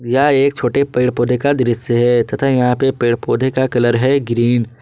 यह एक छोटे पेड़ पौधे का दृश्य है तथा यहां पे पेड़ पौधे का कलर है ग्रीन ।